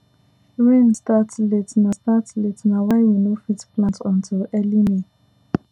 rain start late na start late na why we no fit plant until early may